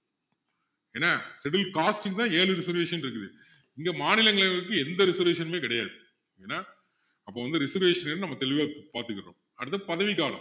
என்ன scheduled caste ல ஏழு reservation இருக்குது இங்க மாநிலங்களவைக்கு எந்த reservation உமே கிடையாது ஏன்னா அப்போ வந்து reservation எதுன்னு நம்ம தெளிவா பாத்துக்குறோம் அடுத்தது பதவிக்காலம்